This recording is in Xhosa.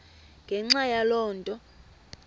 ngenxa yaloo nto